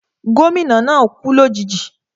Gómìnà náà kú lòjijì